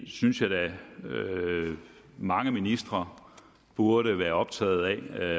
synes jeg da at mange ministre burde være optaget af